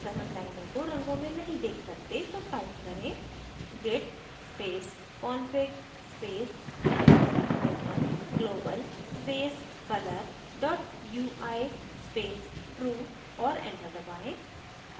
अगर हम लाइनों को रंगों में नहीं देख सकते तो type करें: git space config space hyphen hyphen global space color dot ui space true और enter दबाएँ